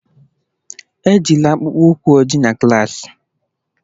Ejila akpụkpọ ụkwụ ojii na klas!